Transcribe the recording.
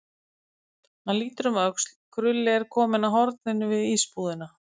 Hann lítur um öxl, Krulli er kominn að horninu við ísbúðina.